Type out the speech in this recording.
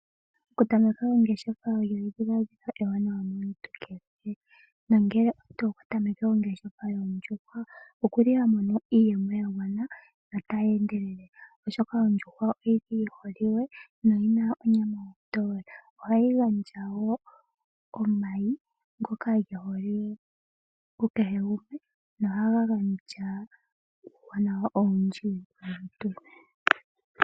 Okutameka ongeshefa olyo edhiladhilo ewanawa momuntu kehe. Nongele oto tameke ongeshefa yoondjuhwa okuli ha mono iiyemo ya gwana notayi endelele. Oshoka ondjuhwa oyi li yi holike noyina onyama ontowe. Ohayi gandja wo omayi ngoka ge holiwe kekehe gumwe, noha ga gandja uuwanawa owundji molutu.